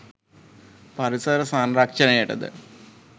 පරිසර සංරක්ෂණයට ද